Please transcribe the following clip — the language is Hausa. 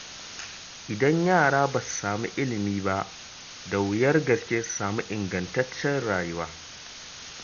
Idan yara ba su samu ilimi ba, da wuyar gaske su samu ingantacciyar rayuwa.